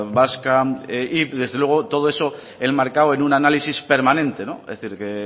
vasca y desde luego todo esto enmarcado en un análisis permanente es decir que